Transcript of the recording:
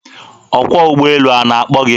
Ọkwọ ụgbọelu a na-akpọ gị?